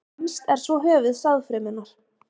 Fremst er svo höfuð sáðfrumunnar.